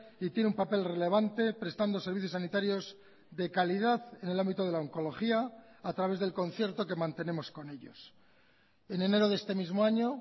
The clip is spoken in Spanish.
y tiene un papel relevante prestando servicios sanitarios de calidad en el ámbito de la oncología a través del concierto que mantenemos con ellos en enero de este mismo año